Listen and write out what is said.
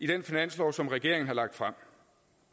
den finanslov som regeringen har lagt frem